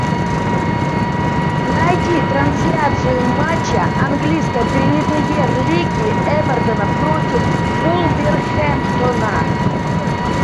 найди трансляцию матча английской премьер лиги эвертона против вулверхэмптона